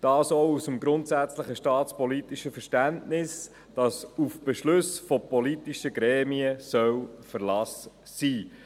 Dies auch aus dem grundsätzlichen staatspolitischen Verständnis, dass auf Beschlüsse von politischen Gremien Verlass sein soll.